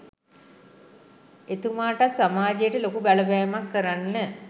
එතුමාටත් සමාජයට ලොකු බලපෑමක් කරන්න